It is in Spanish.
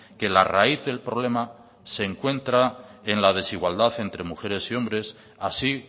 que la raíz del problema se encuentra en la desigualdad entre mujeres y hombres así